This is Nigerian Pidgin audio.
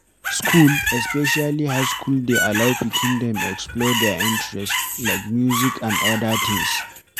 School, especially high school dey allow pikin dem explore their interest like music anf odda things